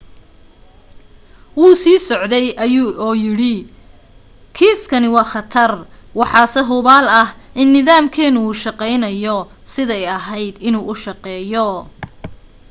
wuu sii socday oo yidhi kiiskani waa khatar. waxaase hubaal ah in nidaamkeenu u shaqayno siday ahayd inuu u shaqeeyo.